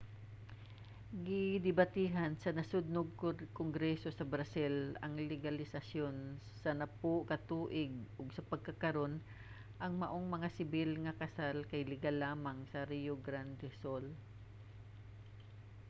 gidebatehan sa nasodnong kongreso sa brazil ang legalisasiyon sa 10 ka tuig ug sa pagkakaron ang maong mga sibil nga kasal kay legal lamang sa rio grande do sul